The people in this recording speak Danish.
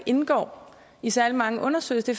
indgår i særlig mange undersøgelser